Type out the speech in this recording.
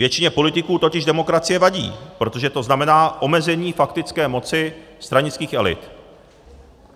Většině politiků totiž demokracie vadí, protože to znamená omezení faktické moci stranických elit.